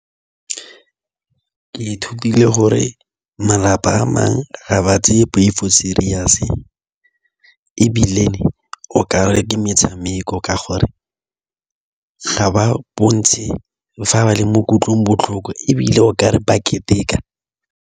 Ke ithutile gore malapa a mangwe ga ba tseye poifo serious ebile o ka re ke metshameko ka gore ga ba bontshe fa ba le mo kutlongbotlhoko ebile o ka re ba keteka.